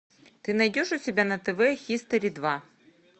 ты найдешь у себя на тв хистори два